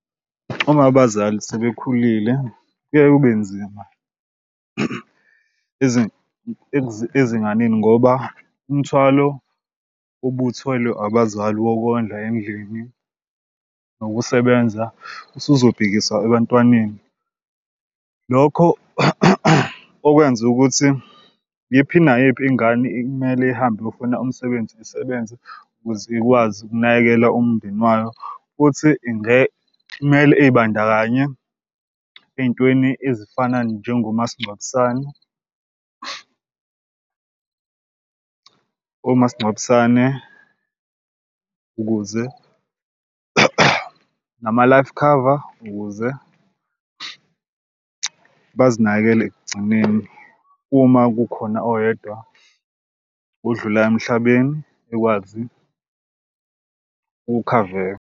Uma abazali sebekhulile kuye kube nzima ezinganeni ngoba umthwalo ubuthwele abazali wokondla endlini nokusebenza usuzobhekisa ebantwaneni. Lokho okwenza ukuthi iyiphi nayiphi ingane kumele ihambe iyofuna umsebenzi. Isebenze ukuze ikwazi ukunakekela umndeni wayo futhi kmele ibandakanye ey'ntweni ezifana njengomasingcwabisane omasingcwabisane ukuze nama-life khava ukuze bazinakekele ekugcineni uma kukhona oyedwa odlula emhlabeni ekwazi ukukhaveka.